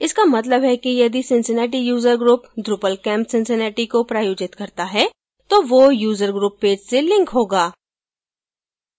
इसका मतलब है कि यदि cincinnati user group drupalcamp cincinnati को प्रायोजित करता है तो वो user group page से link होगा